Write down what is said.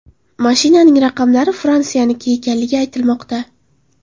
Mashinaning raqamlari Fransiyaniki ekanligi aytilmoqda.